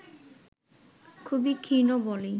খুবই ক্ষীণ বলেই